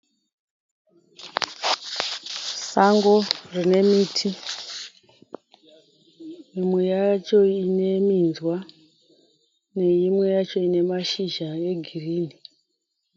Sango rine miti. Imwe yacho ine minzwa neimwe yacho ine mashizha yegirini.